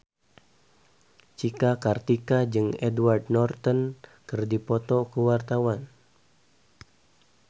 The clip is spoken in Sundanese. Cika Kartika jeung Edward Norton keur dipoto ku wartawan